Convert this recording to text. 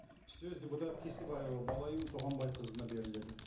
сөз депутат кесебаева балаим туғанбайқызына беріледі